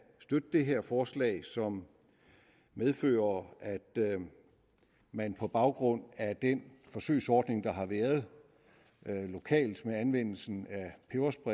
støtte det her forslag som medfører at man på baggrund af den forsøgsordning der har været lokalt med anvendelsen